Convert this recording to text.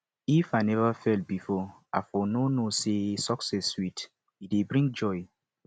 if i never fail before i for no know say success sweet e dey bring joy